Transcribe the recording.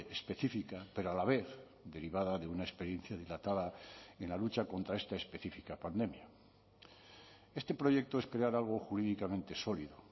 específica pero a la vez derivada de una experiencia dilatada en la lucha contra esta específica pandemia este proyecto es crear algo jurídicamente sólido